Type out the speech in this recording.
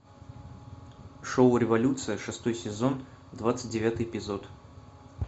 шоу революция шестой сезон двадцать девятый эпизод